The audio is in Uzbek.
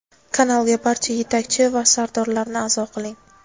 Kanalga barcha yetakchi va sardorlarni a’zo qiling.